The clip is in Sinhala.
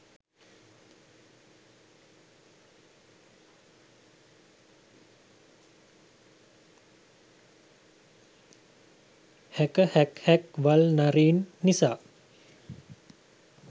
හැකහැක්හැක් වල් නරින් නිසා